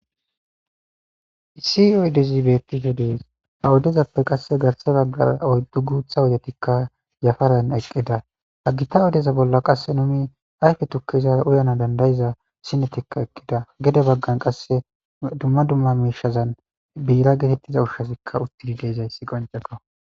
isioydzi bettife dees ha wodezappe qasse garse baggara oyddu guutha wodetikka yafalan eqqida hagita odeza bolla qasse numi ayfe tukki izara uyana dandayiza sinetikka ekkida gede baggan qasse dumma dumma miishazan biira geetettiza ushshasikka uttidi deezayssi qoncekka